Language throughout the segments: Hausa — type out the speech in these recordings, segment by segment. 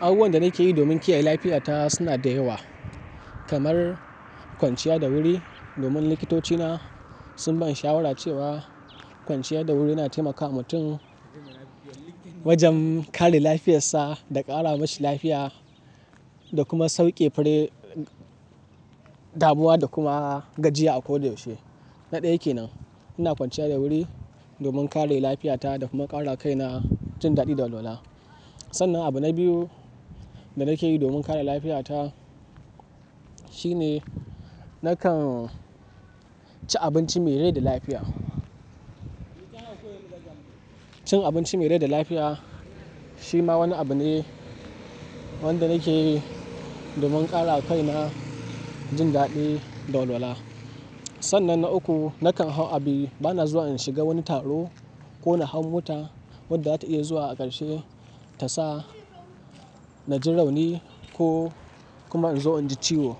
Abubuwan da nake yi domin kiyaye lafiyata suna da yawa, kamar kwanciya da wuri. Domin likitoci na sun bani shawara cewa kwanciya da wuri na taimakawa mutum wajen kare lafiyarsa da ƙara mashi lafiya da kuma sauƙe wani damuwa da kuma gajiya a ko da yaushe. Na ɗaya kenan ina kwanciya da wuri domin kare lafiyata da kuma ƙara kaina jin daɗi da walwala. Sannan abu na biyu da nake yi domin kare lafiyata shine nakan ci abinci me rai da lafiya. Cin abinci me rai da lafiya shi ma wani abu ne wanda nake yi domin ƙara kaina jin daɗi da walwala. Sannan na uku, nakan hau abi bana zuwa in shiga wani taro ko na hau mota wadda za ta iya zuwa a ƙarshe ta sa na jin rauni ko kuma in zo inji ciwo.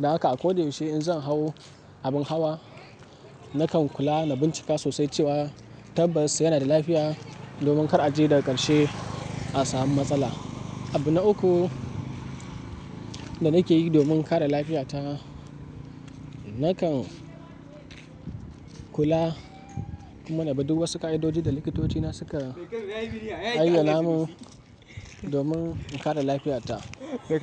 Don haƙa a ko da yaushe in zan hau abin hawa, nakan kula na bincika sosai cewa tabbas yana da lafiya domin kar a je daga ƙarshe a sami matsala. Abu na uku da nake yi domin kare lafiyata, nakan kula kuma na bi duk wasu ƙa'idodi da likitoci na suka ayyanamin domin in kare lafiyata.